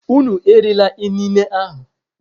Unu erila inine ahu!